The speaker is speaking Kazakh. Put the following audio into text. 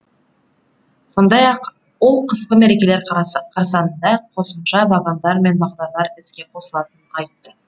сондай ақ ол қысқы мерекелер қарсаңында қосымша вагондар мен бағдарлар іске қосылатынын айтты